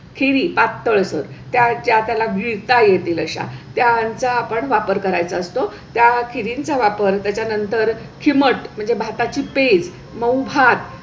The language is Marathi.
खिवि पातळसर त्या त्याला गिळता येतील अशा त्यांच्या आपण वापर करायचा असतो. त्या खिवींचा वापर त्याच्या नंतर खिमट म्हणजे भाता ची पेंड, मऊ भात